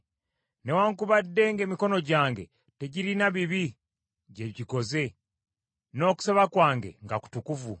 newaakubadde ng’emikono gyange tegirina bibi bye gikoze, n’okusaba kwange nga kutukuvu.